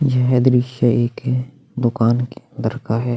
येह दृश्य एक दुकान के अंदर का हैं।